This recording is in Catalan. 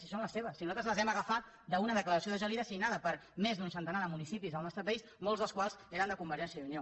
si són les seves si nosaltres les hem agafat d’una declaració de gelida signada per més d’un centenar de municipis del nostre país molts dels quals eren de convergència i unió